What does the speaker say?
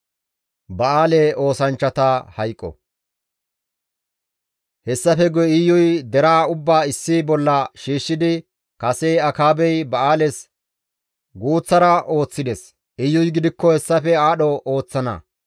Hessafe guye Iyuy deraa ubbaa issi bolla shiishshidi, «Kase Akaabey ba7aales guuththara ooththides; Iyuy gidikko hessafe aadho ooththana.